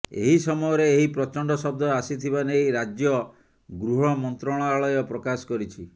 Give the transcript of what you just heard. ଏହି ସମୟରେ ଏହି ପ୍ରଚଣ୍ଡ ଶବ୍ଦ ଆସିଥିବା ନେଇ ରାଜ୍ୟ ଗୃହମନ୍ତ୍ରଣାଳୟ ପ୍ରକାଶ କରିଛି